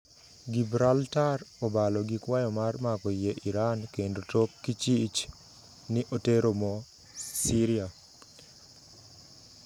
Gibraltar obalo gi kwayo mar mako yie Iran kendo tok kichich ni otero mo Syria.